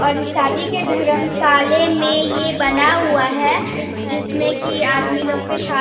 और इ शादी के धर्मशाले में ये बना हुआ है जिसमें की आदमी लोग के शा --